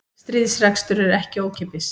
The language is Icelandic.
Stríðsrekstur er ekki ókeypis